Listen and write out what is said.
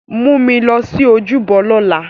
Mu mi lọ si ojúbọ lọla!